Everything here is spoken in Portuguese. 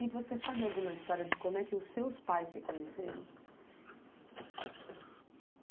E você sabe alguma história de como é que os seus pais se conheceram?